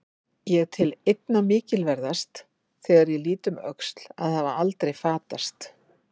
Ég tel einna mikilverðast, þegar ég lít um öxl, að hafa aldrei fatast.